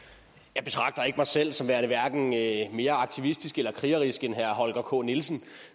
jeg betragter ikke mig selv som værende hverken mere aktivistisk eller krigerisk end herre holger k nielsen